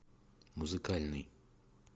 музыкальный